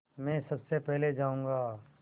मैं सबसे पहले जाऊँगा